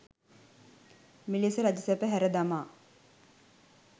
මෙලෙස රජසැප හැර දමා